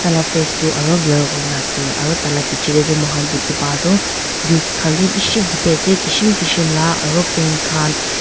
la face toh aro blur kurina ase aro taila beche teh toh moikhan dekhi paa toh juice khan bishi dekhi ase kishem kishem la aro pen kan